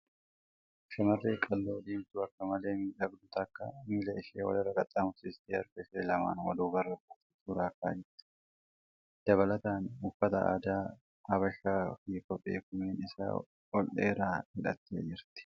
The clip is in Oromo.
Shamarreen qal'oo diimtuun akka malee miidhagdu takka miila ishee wal irra qaxxaamursitee harka ishee lamaan duubarra gootee suura ka'aa jirti. Dabalataa, uffata aadas habashaa fi kophee komeen isaa ol dheeraa hidhattee jirti.